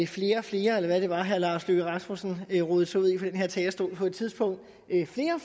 flere og flere eller hvad var det herre lars løkke rasmussen rodede sig ud i fra den her talerstol på et tidspunkt